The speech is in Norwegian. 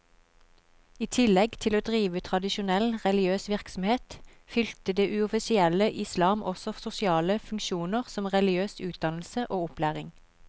I tillegg til å drive tradisjonell religiøs virksomhet, fylte det uoffisielle islam også sosiale funksjoner som religiøs utdannelse og opplæring.